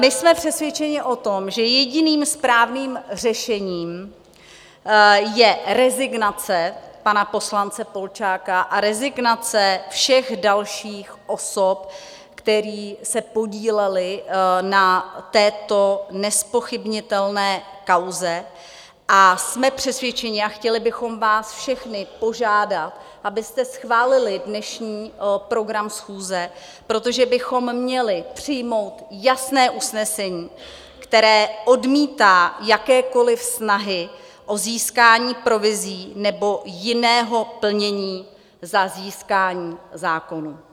My jsme přesvědčeni o tom, že jediným správným řešením je rezignace pana poslance Polčáka a rezignace všech dalších osob, které se podílely na této nezpochybnitelné kauze, a jsme přesvědčeni a chtěli bychom vás všechny požádat, abyste schválili dnešní program schůze, protože bychom měli přijmout jasné usnesení, které odmítá jakékoli snahy o získání provizí nebo jiného plnění za získání zákonů.